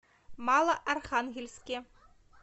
малоархангельске